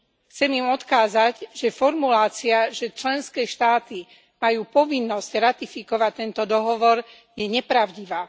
Chcem im odkázať, že formulácia, že členské štáty majú povinnosť ratifikovať tento dohovor, je nepravdivá.